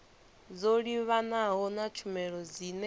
dzo livhanaho na tshumelo dzine